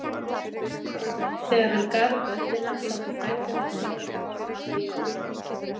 Þegar hann gaf upp öndina sátu frændur hans hjá honum og hafði Jón